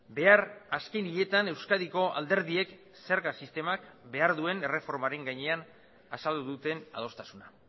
behar azken hiletan euskadiko alderdiek zerga sistemak behar duen erreformaren gainean azaldu duten adostasuna